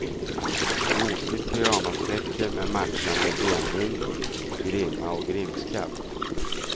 Gosigt pyjamastäcke med matchande benlindor, grimma och grimskaft.